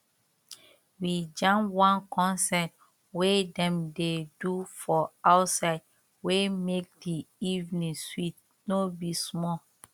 we jam one concert wey dem dey do for outside wey make di evening sweet no be small